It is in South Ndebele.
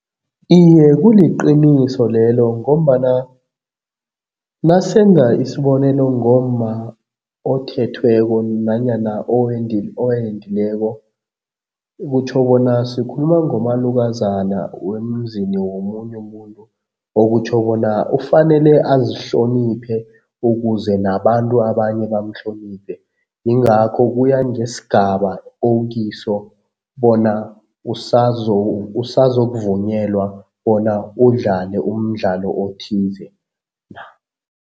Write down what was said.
Iye kuliqiniso lelo ngombana nasenza isibonelo ngomma othethweko nanyana owendileko, okutjho bona sikhuluma ngomalukozana wemzini womunye umuntu okutjho bona ufanele azihloniphe ukuze nabantu abanye bamhloniphe. Yingakho kuya njesigaba okiso bona usazokuvunyelwa bona udlale umdlalo othize na.